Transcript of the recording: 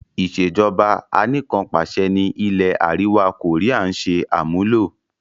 Ìsèjọba anìkanpàṣẹ ni ilẹ̀ àríwá koría ń ṣe àmúlò.